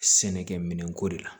Sɛnɛkɛ minɛnko de la